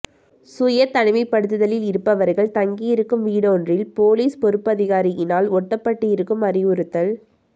சுய தனிமைப்படுத்தலில் இருப்பவர்கள் தங்கியிருக்கும் வீடொன்றில் பொலிஸ் பொறுப்பதிகாரியினால் ஒட்டப்பட்டிருக்கும் அறிவுறுத்தல்